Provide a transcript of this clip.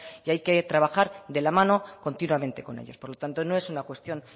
y hay que trabajar de la mano continuamente con ellos por lo tanto no es una cuestión